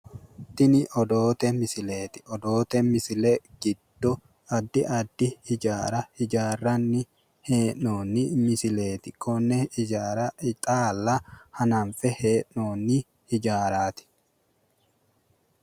Tini odoote misileeti. Odoote misile giddo addi addi hijaara hijaarranni hee'noyiha misileeti. Konne hijaara xaalla hananfe hee'noonni hijaaraati.